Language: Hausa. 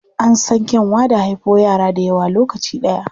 An san kyanwa da haifo yara dayawa a lokaci ɗaya.